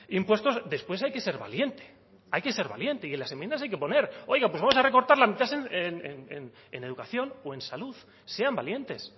impuestos después hay que ser valiente hay que ser valiente y en las enmiendas hay que poner oiga pues vamos a recortar la mitad en educación o en salud sean valientes